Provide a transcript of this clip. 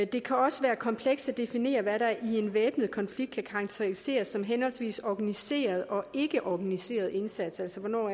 det kan også være komplekst at definere hvad der i en væbnet konflikt kan karakteriseres som en henholdsvis organiseret og ikkeorganiseret indsats altså hvornår